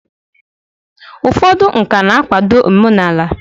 ụfọdụ nka na-akwado omenala